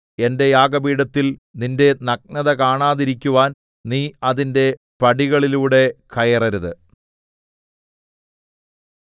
എന്റെ യാഗപീഠത്തിൽ നിന്റെ നഗ്നത കാണാതിരിക്കുവാൻ നീ അതിന്റെ പടികളിലൂടെ കയറരുത്